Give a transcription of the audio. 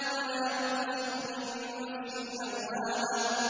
وَلَا أُقْسِمُ بِالنَّفْسِ اللَّوَّامَةِ